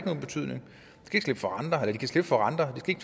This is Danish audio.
nogen betydning at de kan slippe for renter og